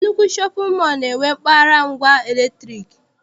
Nnukwu shọpịn mọọ na-enwe mpaghara ngwa latrik.